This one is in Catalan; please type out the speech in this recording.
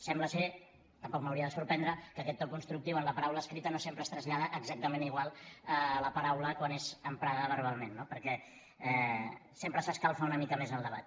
sembla tampoc m’hauria de sorprendre que aquest to constructiu en la paraula escrita no sempre es trasllada exactament igual a la paraula quan és emprada verbalment no perquè sempre s’escalfa una mica més el debat